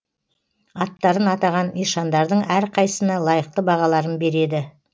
аттарын атаған ишандардың әрқайсысына лайықты бағаларын береді